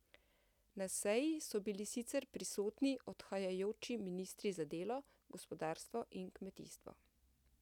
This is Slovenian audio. Na seji so bili sicer prisotni odhajajoči ministri za delo, gospodarstvo in kmetijstvo.